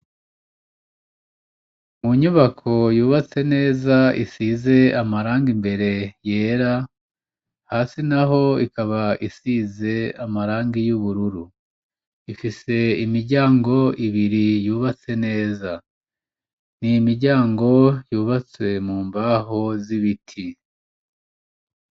Mu nyubako yubatse neza isize amarangi imbere yera, hasi naho ikaba isize amarangi y'ubururu. Ifise imiryango ibiri yubatse neza. Ni imiryango yubatse mu mbaho z'ibiti.